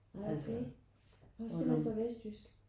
Nej okay. Han var simpelthen så vestjysk?